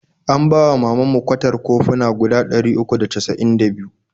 An bawa wa mamanmu kwatar koffuna guda ɗari uku da cas'in da biyu.